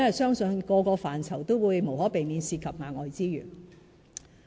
因為每個範疇無可避免涉及額外資源。